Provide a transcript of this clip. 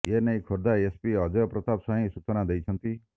ଏନେଇ ଖୋର୍ଦ୍ଧା ଏସପି ଅଜୟ ପ୍ରତାପ ସ୍ବାଇଁ ସୂଚନା ଦେଇଛନ୍ତି